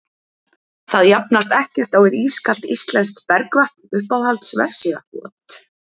það jafnast ekkert á við ískalt íslenskt bergvatn Uppáhalds vefsíða?